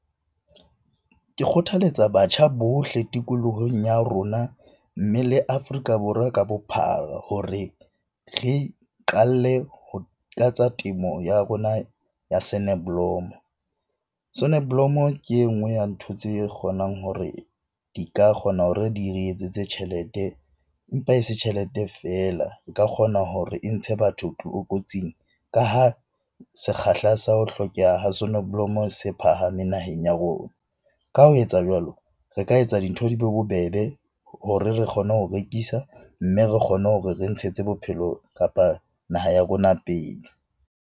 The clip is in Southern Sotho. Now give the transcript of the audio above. Ke kgothaletsa batjha bohle tikolohong ya rona, mme le Afrika Borwa ka bophara hore re iqalle ho ka tsa temo ya rona ya sonneblom-o. Sonneblom-o ke e nngwe ya ntho tse kgonang hore di ka kgona hore di re etsetse tjhelete, empa e se tjhelete feela. E ka kgona hore e ntshe batho kotsing ka ha sekgahla sa ho hlokeha ho sonoblomo se phahameng naheng ya rona. Ka ho etsa jwalo, re ka etsa dintho di be bobebe hore re kgone ho rekisa, mme re kgone hore re ntshetse bophelo kapa naha ya rona pele.